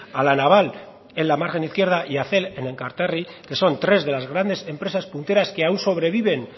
a la naval en la margen izquierda y a cel en enkaterri que son tres de las grandes empresas punteras que aún sobreviven